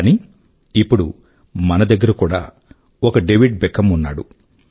కానీ ఇప్పుడు మన దగ్గర కూడా ఒక డేవిడ్ బెక్హామ్ ఉన్నాడు